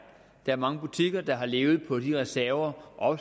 er mange butikker der har levet på de reserver og